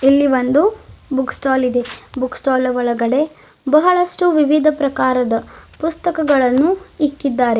ಇಲ್ಲಿ ಒಂದು book stall ಇದೆ ಬುಕ್ ಸ್ಟಾಲ್ ನ ಒಳಗಡೆ ಬಹಳಷ್ಟು ವಿವಿಧ ಪ್ರಕಾರದ ಪುಸ್ತಕಗಳನ್ನು ಇಕ್ಕಿದ್ದಾರೆ.